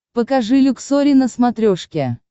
покажи люксори на смотрешке